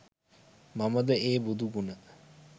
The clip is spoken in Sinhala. මමද ඒ බුදු ගුණ